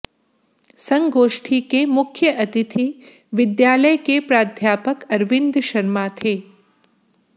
संगोष्ठी के मुख्य अतिथि विद्यालय के प्राध्यापक अरविंद शर्मा थे